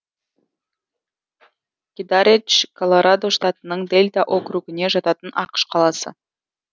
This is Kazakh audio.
кедаредж колорадо штатының дэльта округіне жататын ақш қаласы